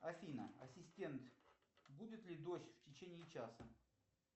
афина ассистент будет ли дождь в течении часа